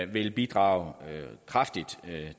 vil bidrage kraftigt